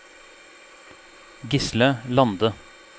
Gisle Lande